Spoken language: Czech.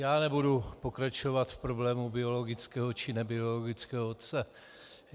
Já nebudu pokračovat v problému biologického či nebiologického otce.